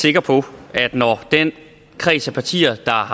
sikker på at når den kreds af partier der har